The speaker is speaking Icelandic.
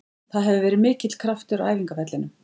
Það hefur verið mikill kraftur á æfingavellinum.